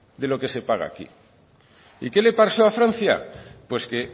de lo que se paga aquí y qué le paso a francia pues que